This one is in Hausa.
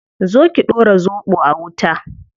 Zo ki dora zobo a wuta